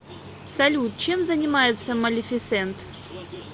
салют чем занимается малефисент